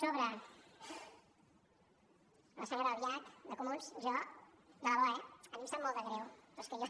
sobre la senyora albiach de comuns jo de debò eh a mi em sap molt de greu però és que jo